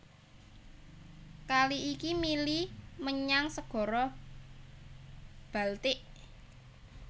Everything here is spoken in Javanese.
Kali iki mili menyang Segara Baltik